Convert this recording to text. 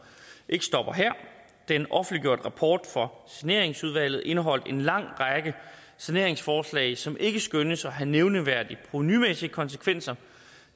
ikke stopper her den offentliggjorte rapport fra saneringsudvalget indeholdt en lang række saneringsforslag som ikke skønnes at have nævneværdige provenumæssige konsekvenser